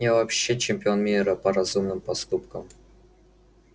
я вообще чемпион мира по разумным поступкам